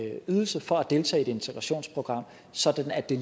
ydelse for at deltage i et integrationsprogram sådan at det